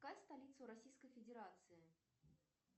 какая столица у российской федерации